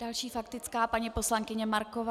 Další faktická - paní poslankyně Marková.